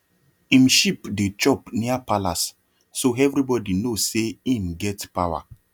him sheep dey chop near palace so everybody know say him get power